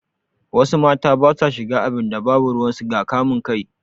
Wasu mata basa shiga abinda babu ruwan su ga kamun kai